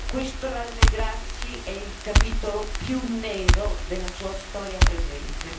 Questo rallegrarsi è il capitolo più nero della sua storia presente.